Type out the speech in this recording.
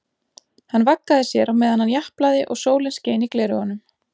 Hann vaggaði sér á meðan hann japlaði og sólin skein í gleraugunum.